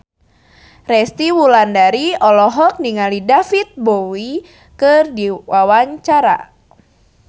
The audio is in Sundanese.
Resty Wulandari olohok ningali David Bowie keur diwawancara